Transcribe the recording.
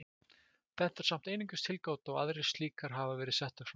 Þetta er samt einungis tilgáta og aðrar slíkar hafa verið settar fram.